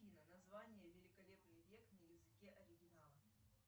афина название великолепный век на языке оригинала